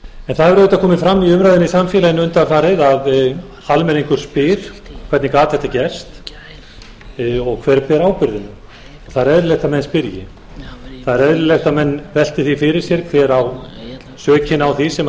en það hefur auðvitað komið fram í umræðunni í samfélaginu undanfarið að almenningur spyr hvernig gat þetta gerst og hver ber ábyrgðina það er eðlilegt að menn spyrji það er eðlilegt að menn velti því fyrir sér hver á sökina á því sem